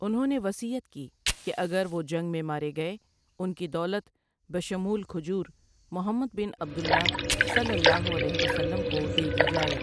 انہوں نے وصیت کی کہ اگر وہ جنگ ًمیں مارے گئے ان کی دولت بشمول کھجور محمد بن عبد اللہ صلی الله علیه وسلم کو دے دی جائے ۔